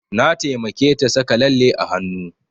Na taimake ta saka lalle a hanu